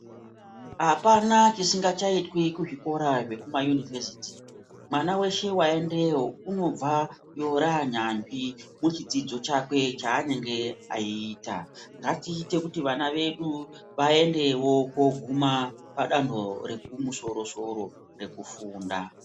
Apana chisingachaitwi kuzvikora zvekumayunivhesiti mwana weshe waendeyo unobvayo ranyanzvi muchidzidzo chakwe chaanenge achiita ngatiite kuti vana vedu vaendewo koguma padanho rekumosoro-soro rekufunda.